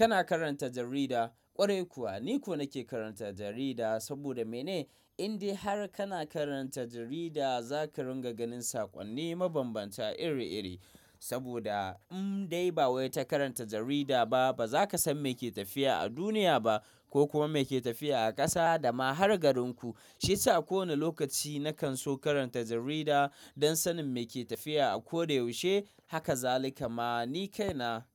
Kana karanta jarida? Ƙwarai kuwa, ni kuwa nake karanta jarida saboda mene? Indai har kana karanta jarida zaka dinga ganin saƙonni mabambanta iri iri. Saboda indai ba wai ta karanta jarida ba, baza kasan meke tafiya a duniya ba ko kuma meke tafiya a ƙasa dama har garinku. Shiyasa kowane lokaci nakan so karanta jarida don sanin meke tafiya a koda yaushe. Haka zalika ma ni kaina.